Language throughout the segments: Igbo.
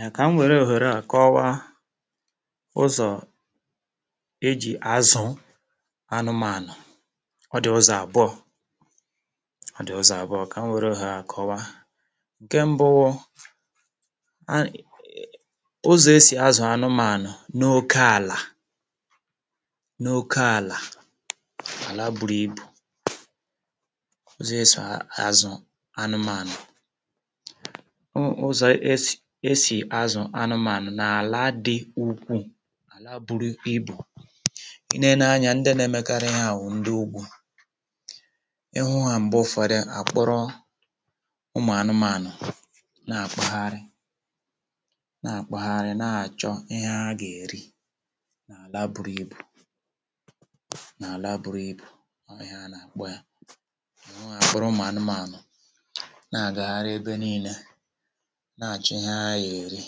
Ya kà m wère òhèrè a kọwaa ụzọ̀ eji̇ azụ̀ anụmànụ̀. Ọ dị̀ ụzọ àbụọ̇, ọ dị̀ ụ́zọ àbụọ̇ kà m wère ohere a kọwaa. Ǹkè mbụ wụ a um ụzọ̀ e si azụ̀ anụmànụ̀ n'okė àlà, n'okė àlà, àla buru ibù. Ụzọ̀ esò azụ̀ anụmànụ̀, ụ ụzọ̀ esì esì azụ̀, anụmànụ̀ na-ala dị ukwuù, ala buru ibù. I neenà anya ndị na-emekarị ihe a, ụ̀ ndị ugwuù, ị hụ ha m̀gbè ụ̀fàdụ, àkpụrụ ụmụ̀ anụmànụ̀ na-àkpagharị, na-àkpagharị na-àchọ ihe ha gà-èri na-àla buru ibù, na-àla buru ibù. Ọọ̀ ihe ana-àkpaya, kpọrọ ụmụ̀ anụmànụ̀ na-àgagharị ebe niilė na-achi ihe ha ya eri.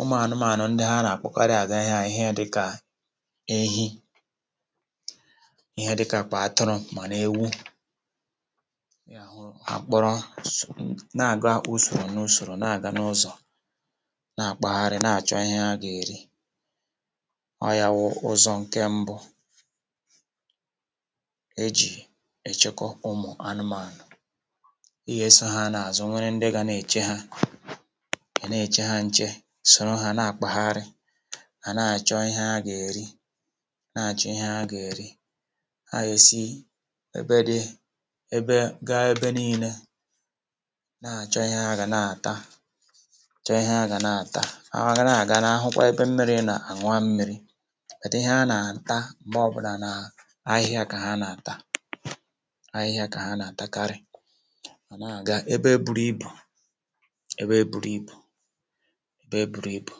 Ụmụ anụmànụ ndị ha na-akwụkarị aga ihea ihe dịka ehi, ihe dịka kpa, atụrụ, mana ewu, a kpọrọ so na-aga usoro n'usoro, na-aga n'ụzọ na-agbagharị na-achọ ihe ha ga-eri. Ọ ya wụ ụzọ nke mbụ eji echekọ ụmụ anụmànụ, e ya eso ha n'azu. Nwere ndị ga n'eche ha, e n'eche ha nche, soro ha na-akpaghara ha na-achọ ihe a gà-èri, na-achọ ihe a gà-èri. Ha yèsi ebe di ebe, gaa ebe niile na-achọ ihe a gà na-ata, chọọ ihe a gà na-ata. Ahụhwa gȧ na-aga n'ahụkwa ebe mmiri nà àṅụwa mmiri, wèdị ihe a nà-ata m̀gbè ọ bụlà nà ahịhịa kà ha nà-ata, ahịhịa kà ha nà-àtakarị mà na-aga ebe e buru ibù, ebe e buru ibu, ebe e buru ibu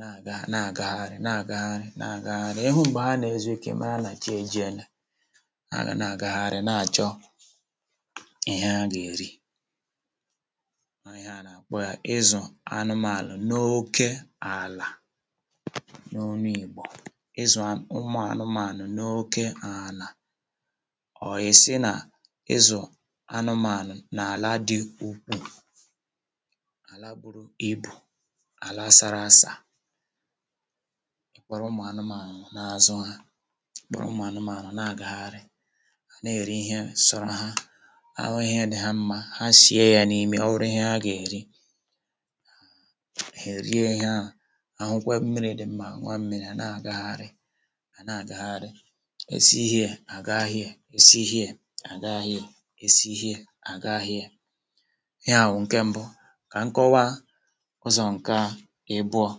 na-aga, na-agagharị, na-agagharị, na-agagharị. Ị hụ mgbe ha na-ezuike, ịmara na chi ejiele, ha ga na-agagharị, na-achọ ihe a ga-eri, kpọ ya ịzụ anụmànụ n'oke àlà, n'onu igbo, ịzụ anụmànụ n'oke àlà. Ọ ya-si na ịzụ anụmànụ na-ala dị ukwuu, ala buru ibu̇, ala asara asà, kpọrọ ụmụ̀ anụmàanụ̀ na-azụ ha, kpọrọ ụmụ̀ anụmàanụ̀ na-agagharị ana-eri ihe sọrọ ha ahụ ihẹ dị ha mma, ha sie ya n'ime. Ọ wụrụ ihe ha ga-eri, ha erie ihe ahụ, ahụkwa mmiri dị mma, aṅụa mmiri, a na-agagharị, a na-agagharì, e si here, agaa here, e si here, agaa here, e si here, agaa here. Ihe a wụ nke mbụ ka m kọwaa. Ụzọ̀ nke a ebuọ̇,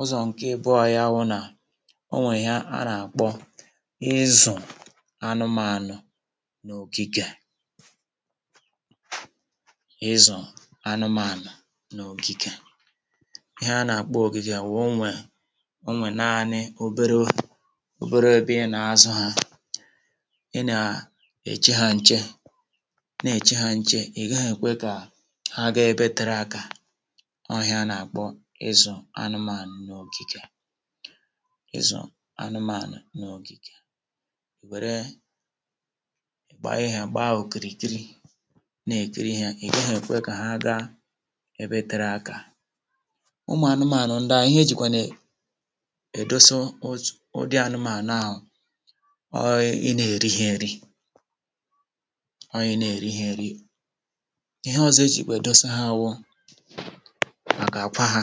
ụzọ̀ nke ebuọ̇ ya wụ̇ nà o nwèrè ihe a nà-àkpọ ịzụ̀ anụmȧanụ̇ n'ògìgè, ịzụ̀ anụmȧanụ̀ n'ògìgè. Ihe a nà-àkpọ ògìgè wụ̀ o nwè, o nwè naanị obere obere ebe ịnà-azụ̇ ha, ịnà èche hȧ nche, na-èche hȧ nche. Ị̀gaghị̇ èkwe kà ha gaa ebe tere aka. Ọ ihe a nà-àkpọ ịzụ̀ anụmànụ̀ n'ogìgè, ịzụ̀ anụmànụ̀ n'ogìgè è wèrè e kpá ihe kpaa okiri kìrì na-èkiri yȧ. È gaghị èkwe kà ha ga ebe tere akȧ. Ụmụ̀ anụmànụ̀ ndị à, ihe ejìkwene è èdosa ụzụ̀, ụdị anụmànụ̀ ahụ̀ ọọ̇ ịnị èri ha eri, ọọ̇ ịnị èri ha eri. Ihe ọzọ eji edosa ha wụ màkà àkwa ha,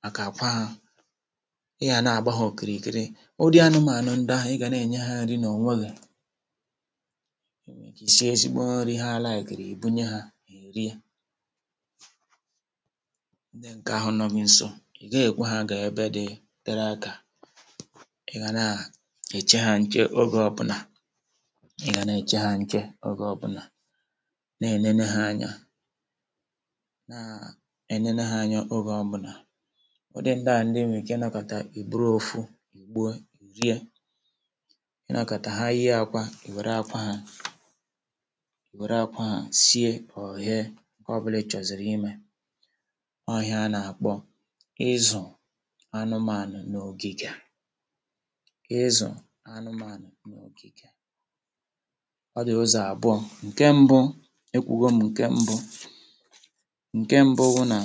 màkà àkwa ha. Ị yà na-àgba hȧ òkiri kiri, ụdị anụmȧànụ ndia ị gà na-ènye ha nri nà onwė gị. Ị sie ezigbo nri, ha laikiri, ìbunye ha è rie ndị ǹkè ahụ nọ gị nso. Ì ga-èkwa ha gà-èbe dị tere akȧ, ị gà na-èche ha nche ogė ọbụnà, ị gà na-eche ha nche ogė ọbụnà, na-ènene ha anya, naa enene ha anya oge ọbụna. Ụdị ndị a, ndị ị wee ike ị nakata, ì buru ofu e gboo rie, i nakata ha yie akwa, iwere akwa ha, ìwere akwa ha sie. Ọ yee ǹkọ bụla ịchọziri ime. Ọ ihe a na-akpọ ịzụ anụmànụ n'ogige, ịzụ anụmànụ n'ogige. Ọ dị ụzọ abụọ: nke mbụ ekwugo mù nke mbụ, ǹkè mbụ wụ nà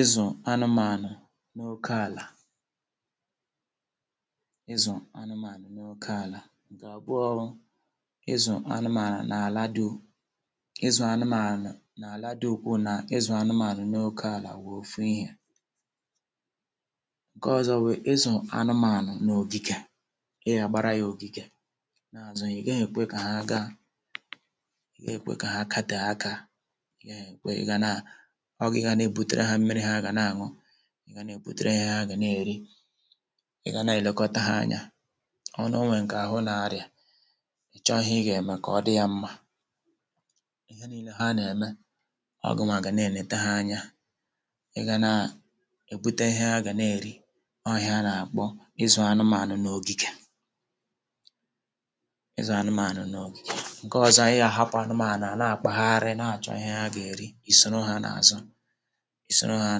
ịzụ̀ anụmànụ̀ n'oke àlà, ịzụ̀ anụmànụ̀ n'oke àlà; nke abụọ, ịzụ anụmànụ̀ n'àlà du, ịzụ̀ anụmànụ̀ n'àlà dukwu na ịzụ anụmànụ̀ n'oke n'àlà wụ ofú ihe. Nke ọzọ wụ ịzụ anụmànụ̀ na ogige, ị ya agbara ya ogige na azụ ha, ị gaghị ekwe ka hà gaa, ị gaghị ekwe ka ha ga tee aka, ị gaghị ekwe. Ị ga na ọ gị ga n'ebutere ha mmiri, ha ga na-aṅụ, ị ga n'ebutere ha ihe ha gà n'eri, ị gà na-èlekọta ha anya. Ọ n'onwe ǹkè ahụ na-arịa, ị chọ ihị, ị gà-ème kà ọ dị ya mmȧ ihe niile. Ha nà-ème ọ gụnwaà gà n'eleta ha anya, ị gà na èbute ihe ha gà na-èri. Ọ ihe a nà-àkpọ ịzụ̀ anụmànụ̀ n'ogige, ịzụ̀ anụmànụ̀ n'ogige. Nke ọzọ, ị gà-àhapụ̀ anụmànụ̀ ha ànà àkpàgharị, na-àchọ ihẹ a gà-èri, ìsoro ha n'àzụ, ìsoro ha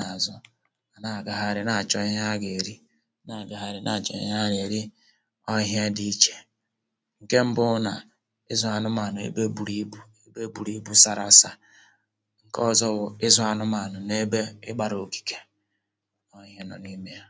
n'àzụ, ana-àgaghari na-àchọ ihẹ a gà-èri, na-àgaghari na-àchọ ihẹ a gà-èri. Ọ ihe dị ichè ǹkẹ mbụ nà ịzụ̀ anụmànụ̀ ebe buru ibu̇, ebe buru ibu̇ sara asa, ǹkẹ ọzọ wụ̀ ịzụ̀ anụmànụ̀ n'ebe ịgbȧrȧ òkìkè, ọ ihe nọ n'ime ya.